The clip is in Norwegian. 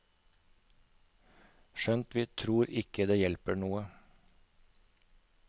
Skjønt vi tror ikke det hjelper noe.